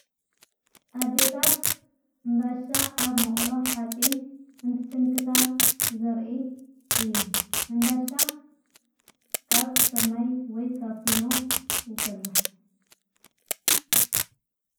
ኣደታት እምባሻ ኣብ መቕሎ ኃጺን እንትስንክታ ዘርኢ እዩ ሕምባሻ ካብ ሥርናይ ወይ ካፊኖ ይስራሕ።